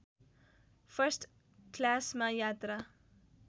first क्लासमा यात्रा